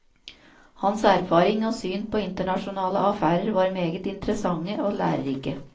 Hans erfaring og syn på internasjonale affærer var meget interessante og lærerike.